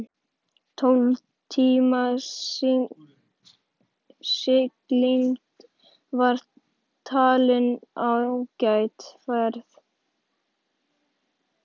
Tólf tíma sigling var talin ágæt ferð.